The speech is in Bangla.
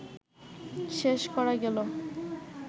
শেষ করা গেল